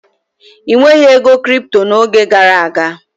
E nweghị ego kripto n'oge gara aga.